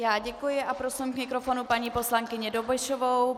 Já děkuji a prosím k mikrofonu paní poslankyni Dobešovou.